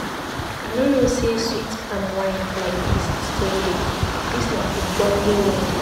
I no know say sweet palm wine like dis still dey. Dis na ogbonge wedding.